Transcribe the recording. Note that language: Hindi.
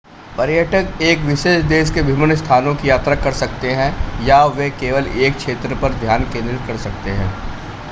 पर्यटक एक विशेष देश के विभिन्न स्थानों की यात्रा कर सकते हैं या वे केवल एक क्षेत्र पर ध्यान केंद्रित कर सकते हैं